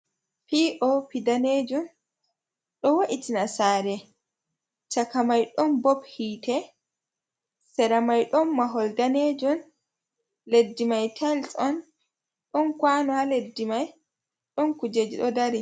Piopi danejun ɗo wo’itina sare, chaka mai ɗon bob hiite, sera mai ɗon mahol danejun, leddi mai tayils on, ɗon Kwano ha leddi mai, ɗon kujeji ɗo dari.